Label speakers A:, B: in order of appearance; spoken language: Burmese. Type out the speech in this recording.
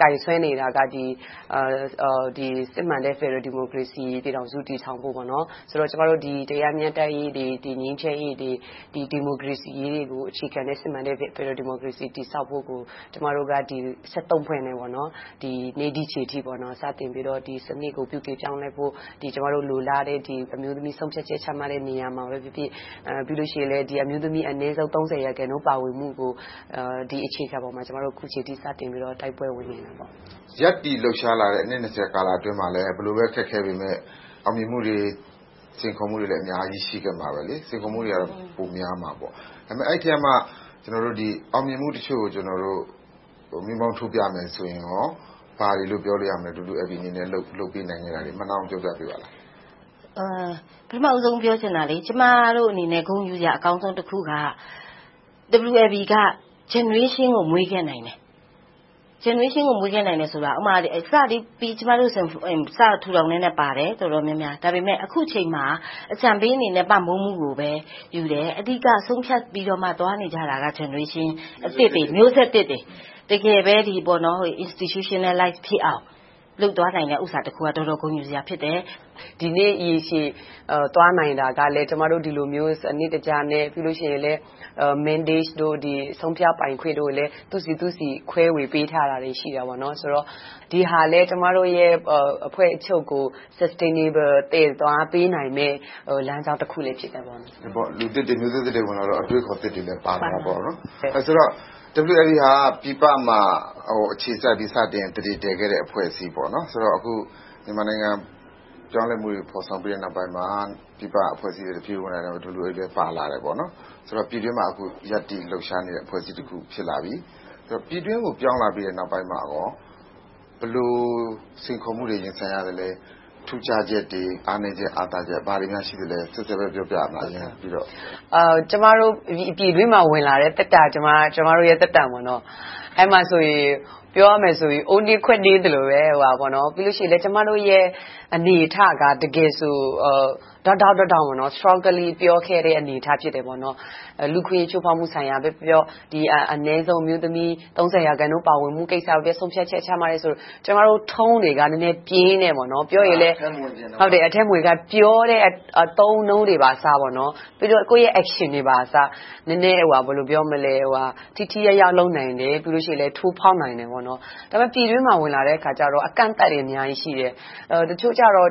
A: ကိုင်စွဲနေတာကတော့ စစ်မှန်တဲ့ ဖယ်ဒရယ်ပြည်ထောင်စု တည်ထောင်ဖို့ - ငြိမ်းချမ်းရေး၊ တရားမျှတရေး၊ ဒီမိုကရေစီရေးကို အခြေခံတဲ့ စစ်မှန်တဲ့ ဖယ်ဒရယ်ပြည်ထောင်စု တည်ဆောက်ဖို့ကို ကျမတို့ ဖွဲ့နဲ့ ဒီနေ့ဒီအချိန်အထိ စတင်ပြီးတော့ ဒီစနစ်ပြုပြင်ပြောင်းလဲဖို့ ကျမတို့ လိုလားတဲ့ အမျိုးသမီးဆုံးဖြတ်ချက် ချမှတ်တဲ့နေရာမှာပဲဖြစ်ဖြစ်၊ ပြီးတော့ အမျိုးသမီးတွေ အနည်းဆုံး ရာခိုင်နှုန်း ပါဝင်နိုင်ရေး အခြေခံပေါ်မှာ အခုအချိန်အထိ တိုက်ပွဲဝင်နေတာ ဖြစ်ပါတ
B: ယ်။ မေး ။ ။ ရပ်တည်လှုပ်ရှားလာတဲ့ အနှစ် အတွင်းမှာလည်း ဘယ်လိုပဲ အခက်အခဲတွေ ရှိပေမယ့် အောင်မြင်မှုတွေ စိန်ခေါ်မှုတွေလည်း အများကြီး ရှိခဲ့မှာပါ။ စိန်ခေါ်မှုတွေကတော့ ပိုများမှာပေါ့။ ဒါပေမဲ့ အဲဒီအထဲကမှ အောင်မြင်မှုတချို့ကို မီးမှောင်းထိုးပြရမယ်ဆိုရင် ဘာတွေလို့ ပြောလို့ရမလဲ။ WLB အနေနဲ့ လုပ်ကိုင်ခဲ့တာတွေကို ပြောပြပေးပါလား
C: ။ ဖြေ ။ ။ ပထမဦးဆုံး ပြောချင်တာက ကျမတို့အနေနဲ့ ဂုဏ်ယူစရာအကောင်းဆုံးက WLB က Generation ကို မွေးခဲ့နိုင်တယ်။ Generation ကို မွေးခဲ့နိုင်တယ်ဆိုတာ စပြီးထူထောင်ကတည်းက ကျမတို့ တော်တော်များများပါခဲ့တယ်။ ဒါပေမဲ့ အခုအချိန်မှာ အကြံပေးအနေနဲ့ ပံ့ပိုးမှုကိုပဲယူတယ်။ အဓိက ဆုံးဖြတ်ပြီး သွားနေကြတာက Generation မျိုးဆက်သစ်တွေ တကယ်ပဲ Institutionalize ဖြစ်အောင် လုပ်သွားနိုင်တဲ့ကိစ္စတခုက တော်တော်ဂုဏ်ယူစရာတခု ဖြစ်တယ်။ ဒီနေ့ ရေရှည်သွားနိုင်တာကလည်း ကျမတို့ ဒီလိုမျိုး စနစ်တက
A: ျနဲ့ Mandate တို့၊ ဆုံးဖြတ်ပိုင်ခွင့်တွေလည်း အသီးသီး ခွဲဝေပေးထားတာတွေ ရှိတယ်။ ဆိုတော့ ဒီဟာလည်း အဖွဲ့ချုပ်ရဲ့ Substainable သွားပေးနိုင်တယ် လမ်းကြောင်းတခုလည်း ဖြစ်တယ်။ မေး
B: ။ ။ လူသစ်တွေ၊ မျိုးဆက်သစ်တွေ ပါလာတော့ အတွေးအခေါ်သစ်တွေလည်း ပါလာတာပေါ့။ ဆိုတော့ WLB ဟာ ပြည်ပမှာ အခြေစိုက်ပြီးတော့ စတင်သန္ဓေတည်လာတဲ့ အဖွဲ့အစည်းဖြစ်ပြီး အခုမြန်မာနိုင်ငံ ပြောင်းလဲမှုတွေ ဖော်ဆောင်ပြီးတဲ့နောက်ပိုင်းမှာ ပြည်ပအဖွဲ့အစည်းတွေ ပြန်ဝင်လာတာ WLB လည်း ပါလာခဲ့တယ်။ ဆိုတော့ ပြည်တွင်းမှာ အခုရပ်တည် လှုပ်ရှားနေတဲ့ အဖွဲ့အစည်းတခု ဖြစ်လာပြီ။ ပြည်တွင်းကို ပြောင်းလာပြီးနောက်ပိုင်းမှာ ဘယ်လိုစိန်ခေါ်မှုတွေကို ရင်ဆိုင်ရသလဲ။ ထူးခြားချက်တွေ၊ အားနည်းချက်၊ အားသာချက်တွေ ဘာတွေများ ရှိပါသလဲ။ နော်ဆဲဆဲ ပြောပြပေးပါ။ ဖြေ ။ ။
A: ကျမတို့ ပြည်တွင်းမှာ ပြန်ဝင်လာတဲ့ သက်တမ်းက ကျမတို့ သက်တမ်း ဖြစ်တယ်။ အဲဒီမှာဆိုရင် ပြောရမယ်ဆိုရင် အိုးနင်းခွက်နင်းပါပဲ။ ပြီးတော့ ကျမတို့ရဲ့ အနေအထားက တကယ်ဆို ထောင့်တထောင့်ကနေ Strongly ပြောခဲ့တဲ့ အနေအထား ဖြစ်တယ်။ လူ့အခွင့်အရေး ချိုးဖောက်မှုကိုပဲပြောပြော၊ အနည်းဆုံး အမျိုးသမီး ရာခိုင်နှုန်း ပါဝင်မှုကိုပဲပြောပြော ဆုံးဖြတ်ချက်ချမှတ်တယ်ဆို ကျမတို့ Tone တွေက နည်းနည်းပြင်းတယ်။ ပြောရင်လဲ
B: ပ
C: ြောတဲ
A: ့အသုံးအနှုန်းတွေကအစ ပြီးတော့ ကိုယ့်ရဲ့ Action တွေပါ ထိထိရောက်ရောက် လုပ်နိုင်ရင်လဲ ထိုးဖောက်နိုင်တယ်။ ဒါပေမဲ့ ပြည်တွင်းမှာ ဝင်လာတဲ့အခါကြတော့ အကန့်အသတ်တွေ အများကြီးရှိတယ်။ တချို့ကြတော့